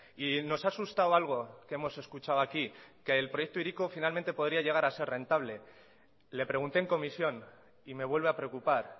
y nos ha asustado algo que hemos escuchado aquí que el proyecto hiriko finalmente podría llegar a ser rentable le pregunté en comisión y me vuelve a preocupar